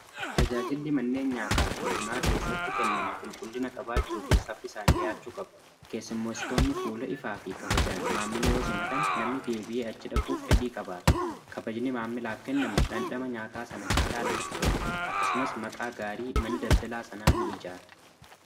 Tajaajilli manneen nyaataa fi bunaa keessatti kennamu qulqullina qabaachuu fi saffisaan dhi'aachuu qabu. Keessummeessitoonni fuula ifaa fi kabajaan maamila yoo simatan namni deebi'ee achi dhaquuf fedhii qabaata. Kabajni maamilaaf kennamu dhandhama nyaata sanaa caala namatti tola. Akkasumas maqaa gaarii mana daldala sanaa ni'ijaara.